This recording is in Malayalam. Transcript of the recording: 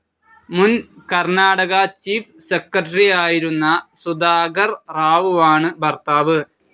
മുൻ കർണാടക ചീഫ്‌ സെക്രട്ടറിയായിരുന്ന സുധാകർ റാവുവാണ് ഭർത്താവ്.